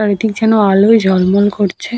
Light -ইর জর্ন্য আলোয় জলমল করছে ।